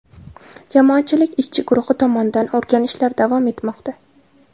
Jamoatchilik ishchi guruhi tomonidan o‘rganishlar davom etmoqda.